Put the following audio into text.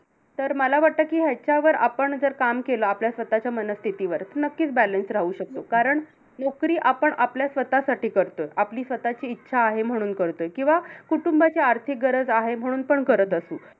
तर मला वाटतं कि ह्याच्यावर आपण जर काम केलं, आपल्या स्वतःच्या मनस्थितीवर तर नक्कीच balance राहू शकतो. कारण नोकरी आपण आपल्या स्वतःसाठी करतो. आपली स्वतःची इच्छा आहे, म्हणून करतो. किंवा कुटुंबाची आर्थिक गरज आहे, म्हणून पण करत असू.